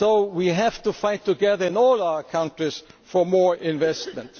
We have to fight together, in all our countries, for more investment.